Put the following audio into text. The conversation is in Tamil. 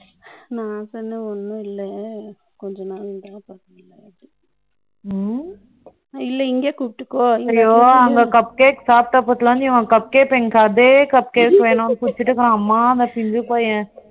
ம், நான் சொன்னேன், ஒண்ணும் இல்லை, கொஞ்ச நாள் தான் இல்ல இங்கயே கூப்டுக்கோ அதே cup case வேணும்னு குடுத்துட்டு இருக்கான். ஆத்தா வீட்ல